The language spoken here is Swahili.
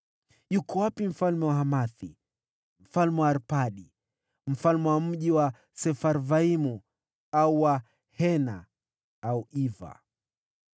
Yuko wapi mfalme wa Hamathi, mfalme wa Arpadi, mfalme wa mji wa Sefarvaimu, au wa Hena au wa Iva?”